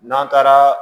N'an taara